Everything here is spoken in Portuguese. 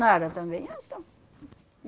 Nada também. Ah, então, hum,